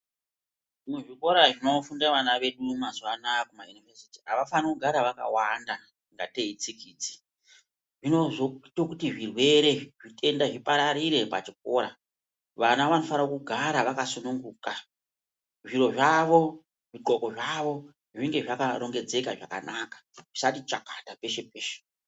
Muzvikora zvinofunda vana vedu mazuvanaya kumayunivhesiti, avafaniri kugara vakawanda kungatei itsikidzi. Zvinozoite kuti zvirwere, zvitenda zvipararire pachikora. Vana vanofanira kugara vakasununguka, zviro zvavo, zvidhloko zvavo, zvinge zvakarongedzeka zvakanaka, zvisati chakata peshe, peshe.